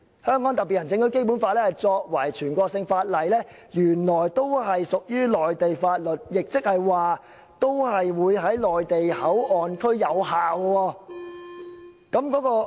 香港特別行政區《基本法》作為全國性法律，原來也屬"內地法律"，亦即是說在內地口岸區同樣生效。